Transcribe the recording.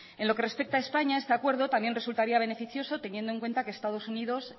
en lo que respecta a españa este acuerdo también resultaría beneficioso teniendo en cuenta que estados unidos